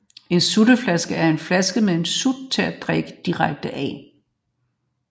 En sutteflaske er en flaske med en sut til at drikke direkte af